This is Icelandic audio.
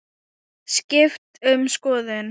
Skipt um skoðun.